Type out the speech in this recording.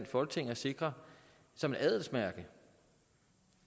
folketing at sikre som et adelsmærke